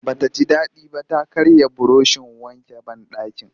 Ba ta ji daɗi ba ta karya burushin wankin banɗaki